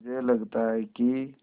मुझे लगता है कि